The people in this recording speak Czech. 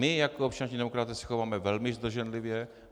My jako občanští demokraté se chováme velmi zdrženlivě.